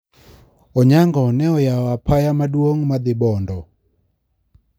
Onyango ne oyao apaya maduong` ma dhi Bondo.